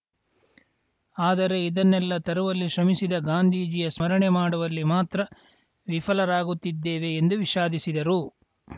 ಆದರೆ ಇದನ್ನೆಲ್ಲ ತರುವಲ್ಲಿ ಶ್ರಮಿಸಿದ ಗಾಂಧೀಜಿಯ ಸ್ಮರಣೆ ಮಾಡುವಲ್ಲಿ ಮಾತ್ರ ವಿಫಲರಾಗುತ್ತಿದ್ದೇವೆ ಎಂದು ವಿಷಾದಿಸಿದರು